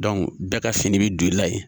bɛɛ ka fini bi don i la yen.